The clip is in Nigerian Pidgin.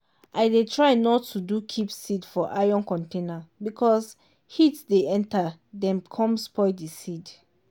i dey try nor to do keep seed for iron container because heat dey enter dem com spoil di seed.